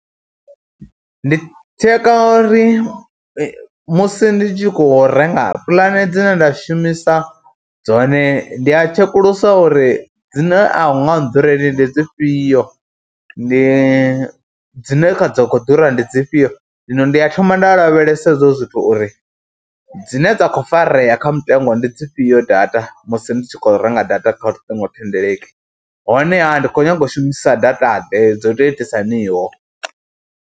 Ndi tsheka uri musi ndi tshi khou renga puḽane dzine nda shumisa dzone ndi a tshekulusiwa uri dzine a hu nga nḓureli ndi dzi fhio, ndi dzine dza khou ḓura ndi dzifhio. Zwino ndi a thoma nda lavhelesa hezwo zwithu uri dzine dza khou farea kha mutengo ndi dzi fhio data musi ndi tshi khou renga data kha luṱingothendeleki honeha ndi khou nyaga u shumisa dataḓe, dzo tou itisa haniho.